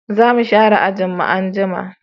Zamu share ajin mu anjima